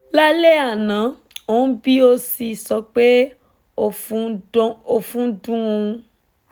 lálẹ́ ana ó ń bi o si sọ pé ofun n dun oun